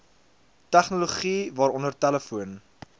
tegnologie waaronder telefoon